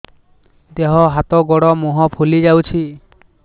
ଦେହ ହାତ ଗୋଡୋ ମୁହଁ ଫୁଲି ଯାଉଛି